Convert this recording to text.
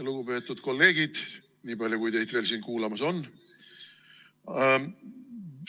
Lugupeetud kolleegid, nii palju kui teid veel siin kuulamas on!